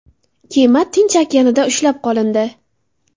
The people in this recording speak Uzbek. Kema Tinch okeanida ushlab qolindi.